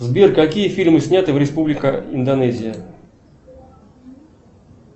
сбер какие фильмы сняты в республика индонезия